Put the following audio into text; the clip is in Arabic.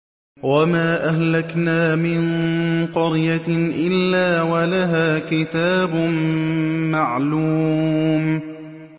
وَمَا أَهْلَكْنَا مِن قَرْيَةٍ إِلَّا وَلَهَا كِتَابٌ مَّعْلُومٌ